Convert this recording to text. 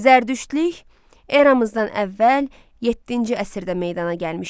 Zərdüştlük eramızdan əvvəl yeddinci əsrdə meydana gəlmişdi.